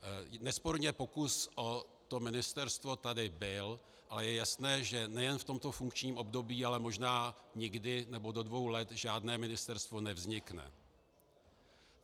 Nesporně pokus o to ministerstvo tady byl, ale je jasné, že nejen v tomto funkčním období, ale možná nikdy nebo do dvou let žádné ministerstvo nevznikne.